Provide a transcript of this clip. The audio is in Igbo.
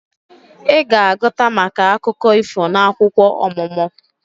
Ị ga-agụta maka akụkọ ifo n'akwụkwọ ọmụmụ